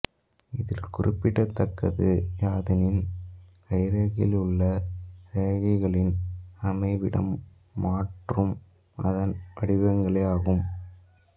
இதில் குறிப்பிடத்தக்கது யாதெனில் கைரேகையில் உள்ள ரேகைகளின் அமைவிடம் மாற்றும் அதன் வடிவங்களே ஆகும்